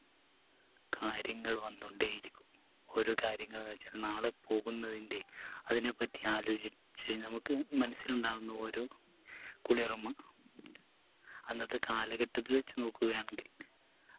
കാര്യങ്ങൾ വന്നോണ്ടേ ഇരിക്കും ഓരോ കാര്യങ്ങൾ വെച്ചാ നാളെ പോകുന്നതിൻറെ അതിനെപ്പറ്റി ആലോചിച്ച് നമുക്ക് മനസ്സിലുണ്ടാവുന്ന ഓരോ കുളിർമ അന്നത്തെ കാലഘട്ടത്തിൽ വെച്ച് നോക്കുകയാണെങ്കിൽ